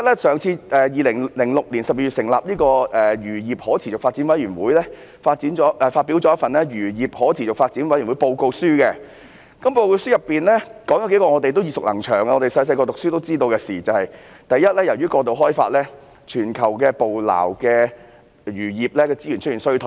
首先 ，2006 年12月成立的漁業可持續發展委員會發表了一份《漁業可持續發展委員會報告》，當中談到數件我們耳熟能詳、小時候唸書也得知的事︰第一，由於過度開發，全球捕撈漁業資源出現衰退。